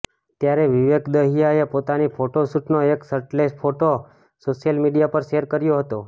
ત્યારે વિવેક દહિયાએ પોતાની ફોટોશૂટનો એક શર્ટલેસ ફોટો સોશિયલ મીડિયા પર શેર કર્યો હતો